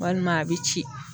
Walima a bi ci.